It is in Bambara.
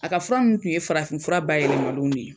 A ka fura ninnu tun ye farafinfura bayɛlɛmalenw de ye